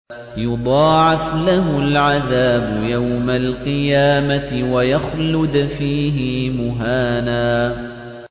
يُضَاعَفْ لَهُ الْعَذَابُ يَوْمَ الْقِيَامَةِ وَيَخْلُدْ فِيهِ مُهَانًا